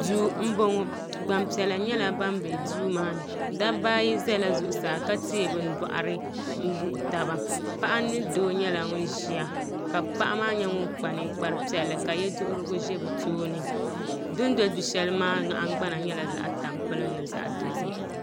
do n bɔŋɔ gbanpiɛlla nyɛla ban bɛ do maani da baayi zala zuɣ' saa ka tɛyi be bɔɣiri n bɔɣigi taba paɣ' mini do nyɛla ban ʒɛya paɣ' maa nyɛ ŋɔ kpa nikpari piɛli ka yɛduhirigu ʒɛ be tuuni din do du shɛli maa nahin gbana nyɛla zaɣ' sabinli zaɣ' dozim